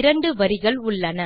இரண்டு வரிகள் உள்ளன